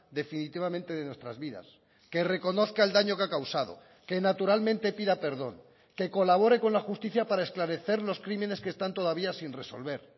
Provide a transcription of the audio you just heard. definitivamente de nuestras vidas que reconozca el daño que ha causado que naturalmente pida perdón que colabore con la justicia para esclarecer los crímenes que están todavía sin resolver